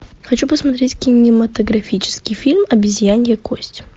хочу посмотреть кинематографический фильм обезьянья кость